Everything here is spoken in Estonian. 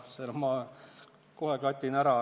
Selle ma kohe klatin ära.